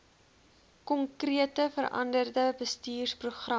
konkrete veranderde bestuursprogramme